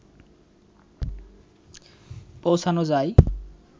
পৌছানো যায়